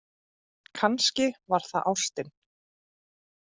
Kannski var það ástin.